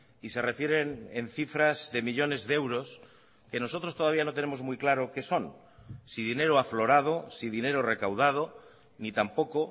y se refieren en cifras de millónes de euros que nosotros todavía no tenemos muy claro qué son si dinero aflorado si dinero recaudado ni tampoco